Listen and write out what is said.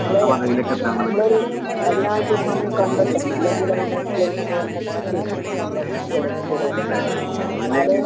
നമ്മള് നമ്മളൊരു അതിനായിട്ടൊരു സമയം കണ്ടെത്തണം ഇല്ലെങ്കില് അതിനായിട്ടുള്ളൊരു സമയം നമ്മള് മാറ്റിവയ്ക്കണം നമ്മളുടെ മക്കളോടൊപ്പം ചെലവഴിക്കാൻ. എന്നാല്